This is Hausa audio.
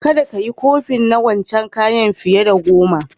Kadda ka yi kofin na wancan kayan fiye da goma!